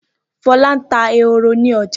Fọlá ń ta ehoro ní ọjà.